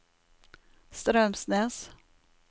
Straumsnes